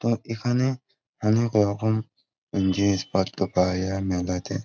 তো এখানে অনেক রকম জিনিসপত্র পাওয়া যায় মেলা তে।